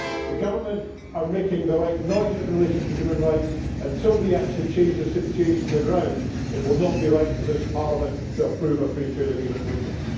The government are making the right noises in relation to human rights but, until they actually change the situation on the ground, it will not be right for this Parliament to approve a free trade agreement with them.